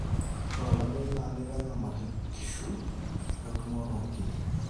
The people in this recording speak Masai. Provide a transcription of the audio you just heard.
ore olameyu naa keitanyamal inkushu we entumoto oonkiri